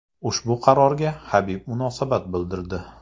Ushbu qarorga Habib munosabat bildirdi.